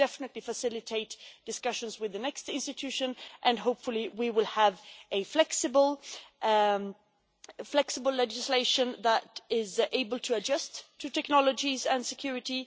It will definitely facilitate discussions with the next institution, and hopefully we will have flexible legislation that is able to adjust to technologies and security.